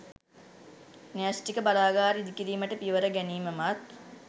න්‍යශ්ටික බලාගාර ඉදි කිරීමට පියවර ගැනීමමත්